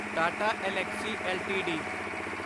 Tata Elxsi LTD